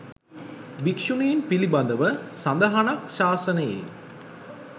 භික්‍ෂුණීන් පිළිබඳව සඳහනක් ශාසනයේ